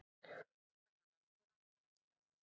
Mamma var ægilega skúffuð.